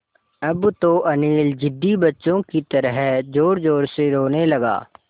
अब तो अनिल ज़िद्दी बच्चों की तरह ज़ोरज़ोर से रोने लगा